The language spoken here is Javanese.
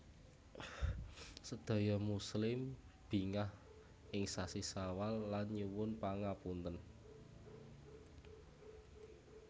Sadaya muslim bingah ing sasi sawal lan nyuwun pangapunten